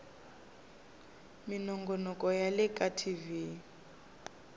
minongonoko ya le ka tv